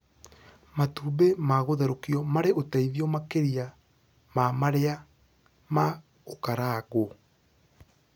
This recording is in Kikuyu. Matumbĩ ma gũtherũkio marĩ ũteithio makĩria ma marĩa ma gũkarangwo